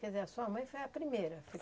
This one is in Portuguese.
Quer dizer, a sua mãe foi a primeira?